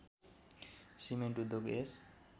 cement उद्योग यस